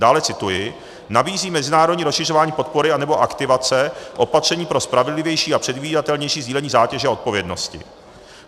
Dále - cituji - nabízí mezinárodní rozšiřování podpory anebo aktivace opatření pro spravedlivější a předvídatelnější sdílení zátěže a odpovědnosti.